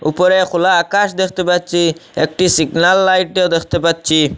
উপরে খোলা আকাশ দেখতে পাচ্ছি একটি সিগনাল লাইটও দেখতে পাচ্ছি।